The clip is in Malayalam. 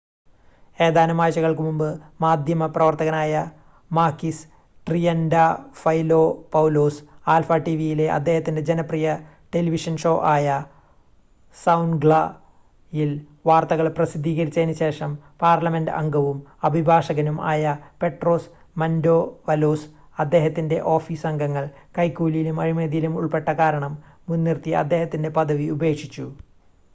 "ഏതാനും ആഴ്ചകൾക്ക് മുൻപ് മാധ്യമപ്രവർത്തകനായ മാകിസ് ട്രിയന്റാഫൈലോപൗലോസ് ആൽഫ ടിവിയിലെ അദ്ദേഹത്തിന്റെ ജനപ്രിയ ടെലിവിഷൻ ഷോ ആയ "സൗൻഗ്ല" യിൽ വാർത്തകൾ പ്രസിദ്ധീകരിച്ചതിന് ശേഷം പാർലമെന്റ് അംഗവും അഭിഭാഷകനും ആയ പെട്രോസ് മന്റോവലോസ് അദ്ദേഹത്തിന്റെ ഓഫീസ് അംഗങ്ങൾ കൈക്കൂലിയിലും അഴിമതിയിലും ഉൾപ്പെട്ട കാരണം മുൻനിർത്തി അദ്ദേഹത്തിന്റെ പദവി ഉപേക്ഷിച്ചു.